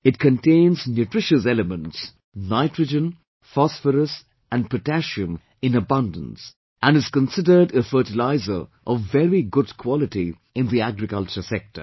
It contains nutritious elements Nitrogen, Phosphorous and Potassium in abundance and is considered a fertiliser of very good quality in the agriculture sector